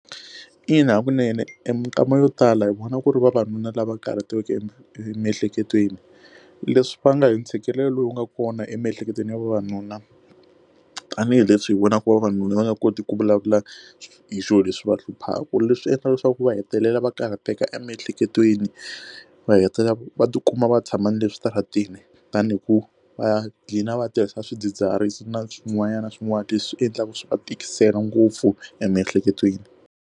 Ina, hakunene mikama yo tala hi vona ku ri vavanuna lava karhatekeke emiehleketweni leswi va nga hi ntshikelelo lowu nga kona emiehleketweni ya vavanuna tanihileswi hi vonaka vavanuna va nga koti ku vulavula hi swilo leswi va hluphaka leswi endla leswaku ku va hetelela va karhateka emiehleketweni va hetelela va tikuma va tshama ni le xitaratini tanihi ku va ya qina va tirhisa swidzidziharisi na swin'wana na swin'wana leswi endlaka swa va tikisela ngopfu emiehleketweni.